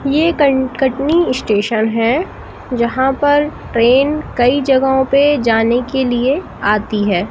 ये कटनी स्टेशन हैं यहां पर ट्रेन कई जगहों पे जाने के लिए आती है।